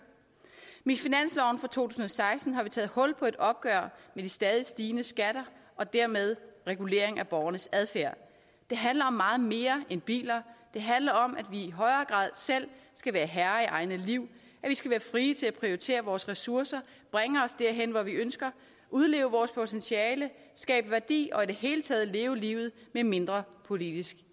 i finansloven for to tusind og seksten har vi taget hul på et opgør med de stadig stigende skatter og dermed reguleringen af borgernes adfærd det handler om meget mere end biler det handler om at vi i højere grad selv skal være herre i eget liv at vi skal være fri til at prioritere vores ressourcer bringe os derhen hvor vi ønsker udleve vores potentiale skabe værdi og i det hele taget leve livet med mindre politisk